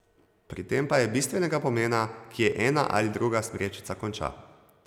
Pri tem pa je bistvenega pomena, kje ena ali druga smrečica konča.